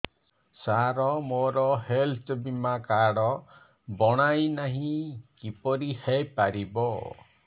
ସାର ମୋର ହେଲ୍ଥ ବୀମା କାର୍ଡ ବଣାଇନାହିଁ କିପରି ହୈ ପାରିବ